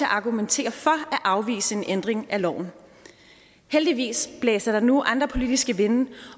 argumentere for at afvise en ændring af loven heldigvis blæser der nu andre politiske vinde